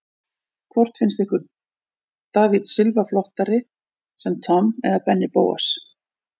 Hvort finnst ykkur David Silva flottari sem Tom eða Benni Bóas?